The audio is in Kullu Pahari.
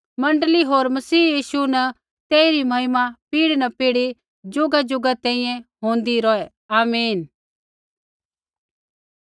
मण्डली होर मसीह यीशु न तेइरी महिमा पीढ़ी न पीढ़ी ज़ुगाज़ुगा तैंईंयैं होंदी रौहै आमीन